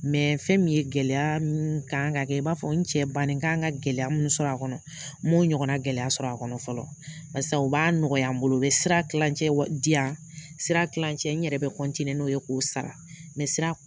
fɛn ye gɛlɛya kan ka kɛ i b'a fɔ n cɛ banni n kan ka gɛlɛya min sɔrɔ n man o ɲɔgɔn na gɛlɛya sɔrɔ a kɔnɔ fɔlɔ barisa u b'a nɔgɔya n bolo u bɛ sira kilancɛ di yan sira kilancɛ n yɛrɛ bɛ n'o ye k'o sira